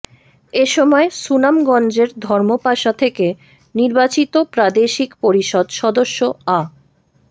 এ সময় সুনামগঞ্জের ধর্মপাশা থেকে নির্বাচিত প্রাদেশিক পরিষদ সদস্য আ